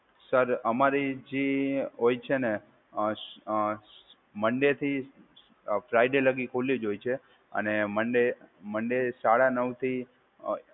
sir, અમારી જે હોય છે અ અ મન્ડે થી ફ્રાયડે લગી ખૂલી જ હોય છે અને મન્ડે મન્ડે સાડા નવથી